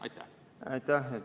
Aitäh!